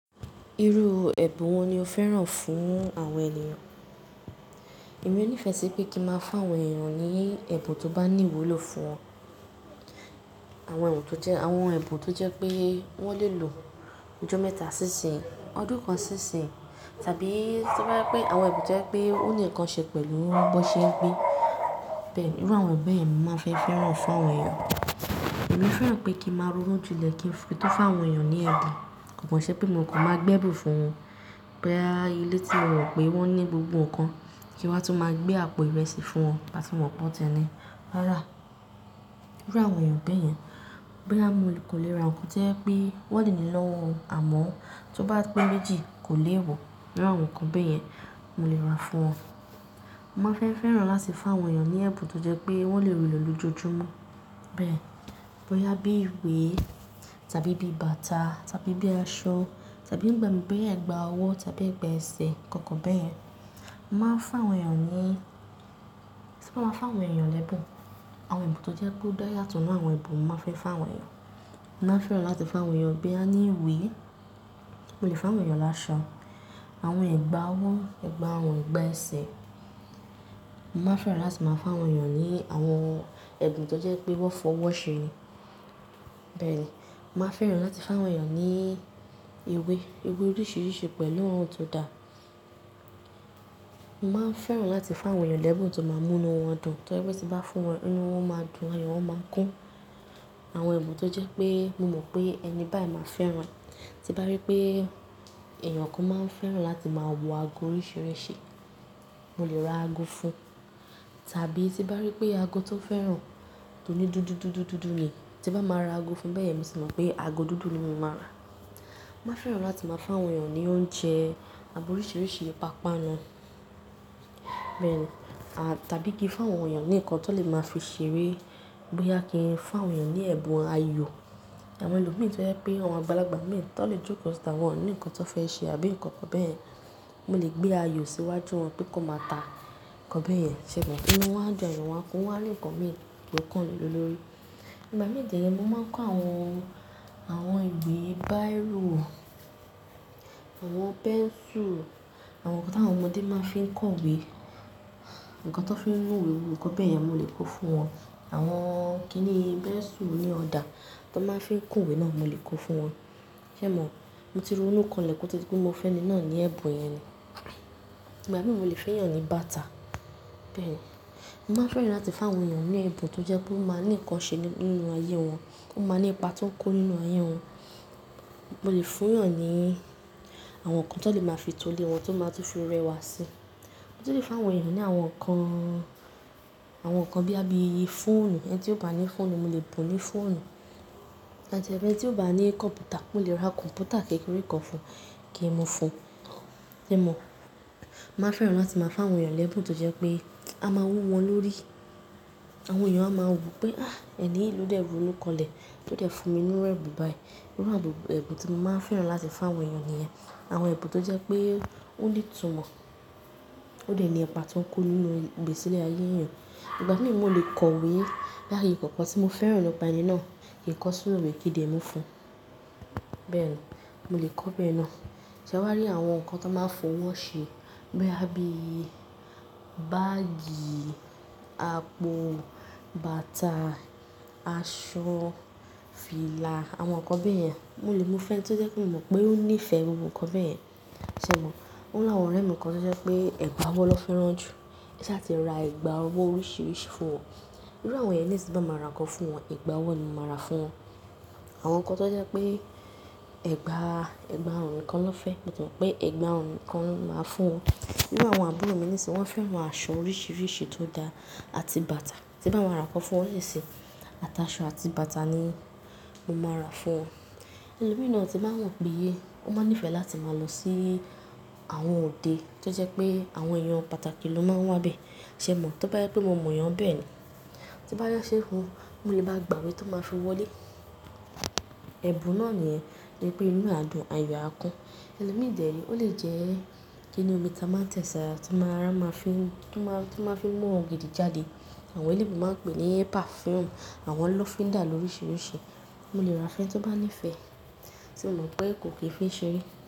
Irú ẹ̀bùn wo ni o fẹ́ràn fún àwọn ènìyàn? Èmi ní ìfẹ́ tí pé kí máa fá àwọn ènìyàn ní ẹ̀bùn tó bá ní ìwúlò fún wọn. Àwọn ẹ̀bùn tó jẹ́ pé wọ́n lè lò ojó mẹ́ta sí ìsìn, ọdún kan sí ìsìn tàbí tí bá rí pé àwọn ẹ̀bùn tó jẹ́ pé ó ní nǹkan ṣe pẹ̀lú bọ́ṣẹ́ gbé. Bẹ́ẹ̀ ni, irú àwọn ẹ̀bùn bẹ́ẹ̀ ni màá fẹ́ fẹ́ràn fún àwọn èèyàn. Èmi fẹ́ràn pé kí ń máa ronú jin lẹ̀ kí n tó fá àwọn ènìyàn ní ẹ̀dà. Konkọ̀ ṣe pé mò kò máa gbé ẹ̀bùn fún wọn. Boya i ilé tí mo mọ̀ pé wọ́n ní gbogbo nǹkan kí wa tun máa gbé àpò ìrẹsì fún wọn, màá tún mọ̀ pé ọ̀tẹ́ni rárá. Irú àwọn ẹ̀bùn bẹ́ẹ̀ yẹn. Boya mo kan lè ra nǹkan tó jẹ́ pé wọ́n lè ní lọ́wọ́ àmọ́ tó bá pé méjì kò lè wọ̀, irú àwọn nǹkan bẹ́ẹ̀ yẹn mo lè rà fún wọn. Mo máa ń fẹ́ fẹ́ràn láti fá àwọn ènìyàn ní ẹ̀bùn tó jẹ́ pé wọ́n lè lò ní ojojúmọ́ bẹ́ẹ̀. Boya i àbí ìwé tàbí bí i bàtà tàbí bí i aṣọ tàbí bí i ẹ̀gbà ọwọ́ tàbí ẹ̀gbà ẹsẹ̀ kọ̀ọ̀kan bẹ́ẹ̀ yẹn, màá fá àwọn ènìyàn ní tí bá máa fá àwọn ènìyàn lẹ́bùn, àwọn ẹ̀bùn tó jẹ́ pé ó dá yàtọ̀ nínú àwọn ẹ̀bùn, màá fẹ́ fá àwọn ènìyàn. Mo máa fẹ́ràn láti fá àwọn ènìyàn boyà ní ìwé, mo lè fá àwọn ènìyàn láṣọ, àwọn ẹ̀gbà ọwọ́, ẹ̀gbà àwọ̀n, ẹ̀gbà ẹsẹ̀. Mo máa fẹ́ràn láti máa fá àwọn ènìyàn ní àwọn ẹ̀bùn tó jẹ́ pé wọ́n fọwọ́ ṣe é. Bẹ́ẹ̀ ni, màá fẹ́ràn láti fá àwọn ènìyàn ní ìwé, ìwé oríṣiríṣi pẹ̀lú àwọn ohun tó da. Mo máa ń fẹ́ràn láti fá àwọn ènìyàn lẹ́bùn tó máa múnu wọn dùn, tó dẹ́ tí bá fún wọn, inu wọn máa dùn, àyò wọn máa kún. Àwọn ẹ̀bùn tó jẹ́ pé mo mọ̀ pé ẹni báì máa fẹ́ràn. Tí nbá rí pé èèyàn kan máa ń fẹ́ràn láti máa wọ ago oríṣiríṣi, mo lè ra ago fún un. Tàbí tí nbá rí pé ago tó fẹ́ràn, tó ní dúdú, dúdú, dúdú ni, tí bá máa ra ago fún bẹ́ẹ̀ yẹn, mo sì mọ̀ pé ago dúdú ni mo máa rà. Mo máa fẹ́ràn láti máa fá àwọn ènìyàn ní oúnjẹ àbọ̀ oríṣiríṣi, pàápàá nu. Bẹ́ẹ̀ ni, à tàbí kí n fá àwọn ènìyàn ní nǹkan tó lè máa fi ṣeré boyà kí n fá àwọn ènìyàn ní ẹ̀bùn ayò. Àwọn ẹlòmíràn tó jẹ́ pé àwọn balagbà mìíràn tó lè jókòó síta wọ́n ní nǹkan tó fẹ́ ṣe àbí nǹkan kan bẹ́ẹ̀, mo lè gbé ayò síwájú wọn pé kí wọn máa ta nǹkan bẹ́ẹ̀ yẹn ṣẹ̀ mọ́. Ìnú wọn dùn, àyò wọn kún, wọ́n á ní nǹkan mìíràn gbó kàn le lọ lórí. Ìgbà mìíràn dẹ́rẹ̀, mo máa ń kó àwọn, àwọn ìwé báyìrò, àwọn pẹ́nsù, àwọn nǹkan ti àwọn ọmọdé máa ń fi kọ ìwé, nǹkan tó fi ń nu ìwé, àwọn nǹkan bẹ́ẹ̀ yẹn mo lè kó fún wọn. Àwọn kí ni pẹ́nsù oní ọ̀dà tó máa ń fi kún ìwé náà mo lè kó fún wọn. Ṣe mò? Mo ti rònu kan lẹ́kòó todí pé mo fẹ́ni náà ní ẹ̀bùn yẹn ni. Ìgbà mìíràn mo lè fẹ́yàn ní bàtà bẹ́ẹ̀ ni. Mo máa fẹ́ràn láti fá àwọn ènìyàn ní ẹ̀bùn tó jẹ́ pé ó máa ní nǹkan ṣe nínú ayé wọn, ó máa ní ipa tó ń kún nínú ayé wọn. Mo lè fún ìyàn ní àwọn nǹkan tó lè máa fi tolé wọn tó máa tún fi rẹwà si. Motunlè fún àwọn ènìyàn ní àwọn nǹkan, àwọn nǹkan bí i fọ́ọ̀nù. Ẹni tí ò bá ní fọ́ọ̀nù, mo lè bùn ú fọ́ọ̀nù. Tabi ẹni tí ò bá ní kọ̀m̀pútà, mo lè ra kọ̀m̀pútà kékeré kan fún un kí n mu fún un. Ṣe emò? Mo máa fẹ́ràn láti máa fá àwọn ènìyàn lẹ́bùn tó jẹ́ pé a máa wú wọn lórí. Àwọn ènìyàn á máa wù pé, "à! Ẹni yìí ló dẹ̀ ronú kanlẹ̀, tó dẹ̀ fún mi inú rẹ̀bun báyìí." Irú àbùbù ẹ̀bùn tí mo máa fẹ́ràn láti fá àwọn ènìyàn nìyẹn. Àwọn ẹ̀bùn tó jẹ́ pé ó ní ìtùmọ̀, ó dẹ̀ ní ipa tó ń kún nínú ìgbésílẹ̀ ayé èèyàn. Ìgbà mìíràn mo lè kọ ìwé boya ni nǹkan kan tí mo fẹ́ràn nípa ẹni náà, kí n kọ sí inú ìwé kí di ẹ́ mu fún un. Bẹ́ẹ̀ ni, mo lè kọ bẹ́ẹ̀ náà. Ṣé ewá rí àwọn nǹkan tó máa ń fọwọ́ ṣe bí i báágì, àpò, bàtà, aṣọ, fìlà, àwọn nǹkan bẹ́ẹ̀ yẹn, mo lè mu fẹ́n tó jẹ́ pé mi mọ̀ pé ó ní ìfẹ́ gbogbo nǹkan bẹ́ẹ̀ yẹn. Ṣe emò? Ó ní àwọn ọ̀rẹ́ mi kan tó jẹ́ pé ẹ̀gbà ọwọ́ ló fẹ́ràn jù. Ṣa a ti ra ẹ̀gbà ọwọ́ oríṣiríṣi fún wọn? Irú àwọn ẹ̀yẹn nisi tí bá máa ra nǹkan fún wọn, ẹ̀gbà ọwọ́ ni mo máa rà fún wọn. Àwọn nǹkan tó jẹ́ pé ẹ̀gbà, ẹ̀gbà orun nìkan ló fẹ́, mo tàn mọ̀ pé ẹ̀gbà àwọ̀n nìkan ni màá fún wọn. Irú àwọn àbúrò mi ni sì wọ́n fẹ́ran aṣọ oríṣiríṣi tó dá àti bàtà. Tí bá máa ra nǹkan fún wọn, ni ṣi àti aṣọ àti bàtà ni mo máa rà fún wọn. Ẹlòmíràn tì mba wo pé ye, wọ́n máa ń nífẹ̀ẹ́ láti máa lọ sí àwọn òde tó jẹ́ pé àwọn èèyàn pàtàkì ló máa ń wá bẹ́ẹ̀. Ṣe emò? Tí bá yẹ pé mo mọ̀ èèyàn bẹ́ẹ̀ ni, tí bá fe ṣé fun, mo lè bá a gbàwé tí ó máa fi wọlé. Ẹ̀bùn náà nìyẹn, ni pé inú a dùn, àyò á kún. Ẹlòmíràn dẹ́rẹ̀, ó lè jẹ́ kí ni omi tí a máa ń tẹ̀sàrà tí màá rà máa fi, tí màá fi mú ògìdì jáde. Àwọn elébo máa ń pè é ní pẹ̀fúùmù, àwọn lọ́fíndà oríṣiríṣi, mo lè ra fún ẹni tí ó bá nífẹ̀ẹ́. Ṣe emò pé kò kì í fi ń ṣeré?